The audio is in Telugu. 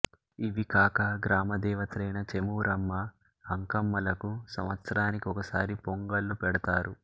ఇవి కాక గ్రామ దేవతలైన చేమూరమ్మ అంకమ్మ లకు సంవత్సరానికి ఒకసారి పొంగళ్ళు పెడతారు